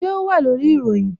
Ṣé o wà lórí ìròyìn?